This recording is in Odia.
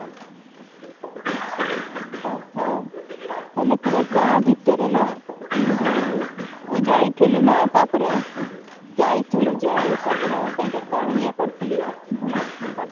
ଓଃହୋ ତାହେଲେ ପୁରା ଗାଁ ଭିତରେ ନା ତୁ ତୁ ଯାଇଥିଲୁ ନା ତାପରେ ଯାଇଥିଲୁ ଯେ ତାପରେ ସେଇଠି କଣ ଇଏ କରିଥିଲୁ ବୁଲାବୁଲି କରିଥିଲୁ